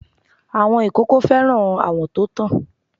Àwọn ìkókó fẹ́ràn àwọ̀ to tàn.